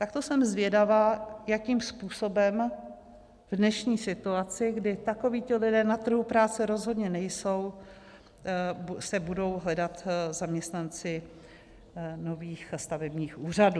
Tak to jsem zvědava, jakým způsobem v dnešní situaci, kdy takovíto lidé na trhu práce rozhodně nejsou, se budou hledat zaměstnanci nových stavebních úřadů.